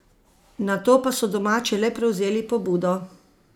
Nato pa so domači le prevzeli pobudo.